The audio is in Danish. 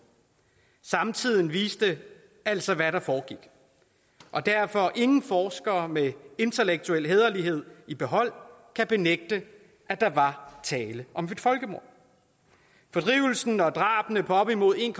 samtiden vidste altså hvad der foregik og derfor ingen forskere med intellektuel hæderlighed i behold benægte at der var tale om et folkemord fordrivelsen af og drabene på op imod en